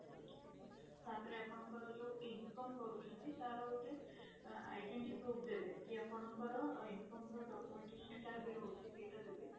ତା ପରେ ଆପଣଙ୍କର ଯୋଉ income କରୁଛନ୍ତି ତାର ଗୋଟେ identity proof ଦେବେ କି ଆପଣ ର income ର documention ଯାହା ବି ରହୁଛି ସେଇଟା ଦେବେ